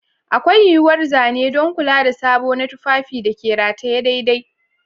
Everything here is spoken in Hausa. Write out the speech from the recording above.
Akwai yuwuwar zane don kula da sabo na tufafin da ke rataye daidai.